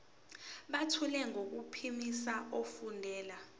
buthule nangokuphimisa efundela